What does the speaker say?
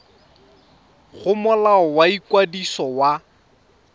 go molao wa ikwadiso wa